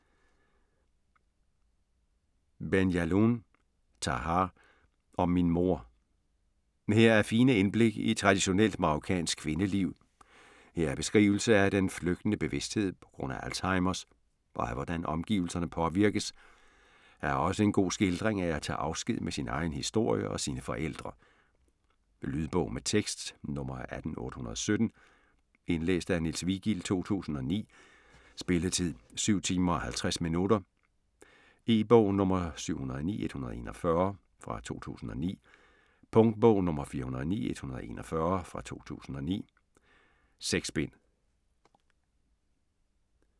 Ben Jelloun, Tahar: Om min mor Her er fine indblik i traditionelt marokkansk kvindeliv, her er beskrivelse af den flygtende bevidsthed p.gr.a. Alzheimers, og af hvordan omgivelserne påvirkes, her er også en god skildring af at tage afsked med sin egen historie og sine forældre. Lydbog med tekst 18817 Indlæst af Niels Vigild, 2009. Spilletid: 7 timer, 50 minutter. E-bog 709141 2009. Punktbog 409141 2009. 6 bind.